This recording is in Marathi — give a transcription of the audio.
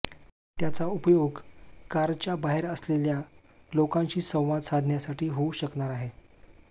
त्याचा उपयोग कारच्या बाहेर असलेल्या लोकांशी संवाद साधण्यासाठी होऊ शकणार आहे